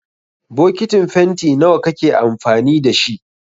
Bokitin fenti nawa kake amfani da shi?